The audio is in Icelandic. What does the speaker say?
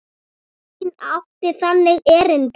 Enginn átti þangað erindi.